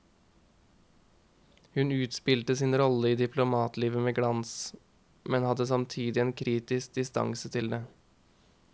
Hun spilte sin rolle i diplomatlivet med glans, men hadde samtidig en kritisk distanse til det.